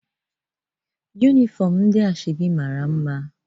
Yụnifọm ndị asoebi mara mma